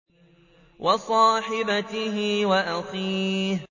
وَصَاحِبَتِهِ وَأَخِيهِ